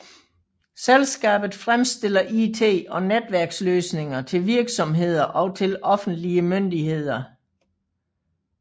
Selskabet fremstiller IT og netværksløsninger til virksomheder og til offentlige myndigheder